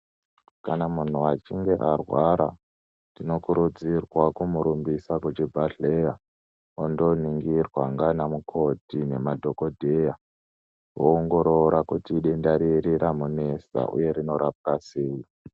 Kana muntu achinge arwara tinokurudzirwawo kumurumbisa kuchibhedhlera ondoningirwa ndiana mukoti nemadhokotera voongorora kuti idenda riri ramunesa uye rinorapwa sei.